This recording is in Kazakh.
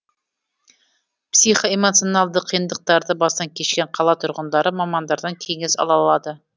психоэмоционалды қиындықтарды бастан кешкен қала тұрғындары мамандардан кеңес ала алады